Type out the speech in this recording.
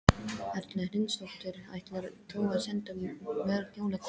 Erla Hlynsdóttir: Ætlar þú að senda mörg jólakort?